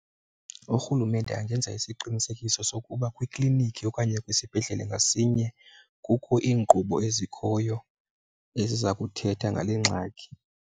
Urhulumente angenza isiqinisekiso sokuba kwiklinikhi okanye kwisibhedlele ngasinye kukho iinkqubo ezikhoyo eziza kuthetha ngale ngxaki.